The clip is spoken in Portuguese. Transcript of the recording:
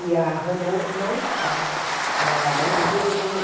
E a Renault não está hã admitindo ninguém.